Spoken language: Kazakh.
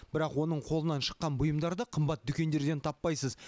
бірақ оның қолынан шыққан бұйымдарды қымбат дүкендерден таппайсыз